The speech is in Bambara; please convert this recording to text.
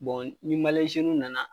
ni w nana